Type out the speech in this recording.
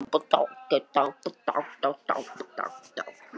Hann lýtur áfram og hvílir ennið á stólbakinu fyrir framan sig.